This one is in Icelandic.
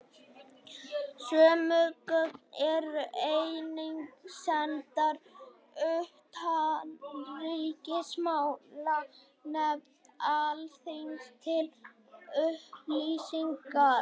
Sömu gögn eru einnig sendar utanríkismálanefnd Alþingis til upplýsingar.